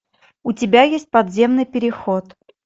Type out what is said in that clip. у тебя есть подземный переход